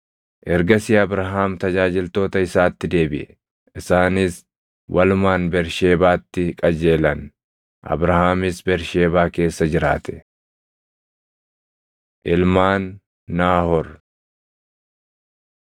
Ergasii Abrahaam tajaajiltoota isaatti deebiʼe; isaanis walumaan Bersheebaatti qajeelan; Abrahaamis Bersheebaa keessa jiraate. Ilmaan Naahoor